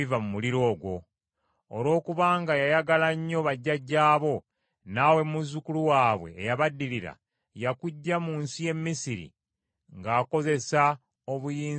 Olw’okubanga yayagala nnyo bajjajjaabo naawe muzzukulu waabwe eyabaddirira, yakuggya mu nsi y’e Misiri ng’akozesa obuyinza bwe obungi.